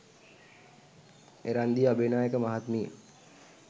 එරන්දි අබේනායක මහත්මිය